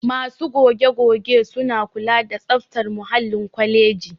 Masu goge-goge suna kula da tsaftar muhallin kwaleji